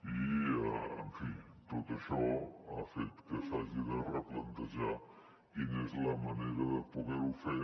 i tot això ha fet que s’hagi de replantejar quina és la manera de poder ho fer